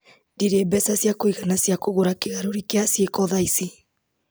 Ndirĩ mbeca cia kũigana cia kũgũra kĩgarũri kĩa ciĩko thaa ici.